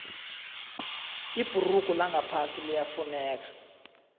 ibhurugu langaphasi liyafuneka